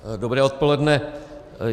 Dobré odpoledne.